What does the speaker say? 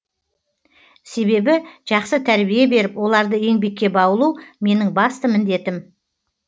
себебі жақсы тәрбие беріп оларды еңбекке баулу менің басты міндетім